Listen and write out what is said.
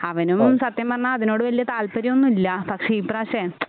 അവനും സത്യം പറഞ്ഞാൽ അതിനോട് വലിയ താൽപര്യമൊന്നുമില്ല പക്ഷേ ഈ പ്രാവശ്യമേ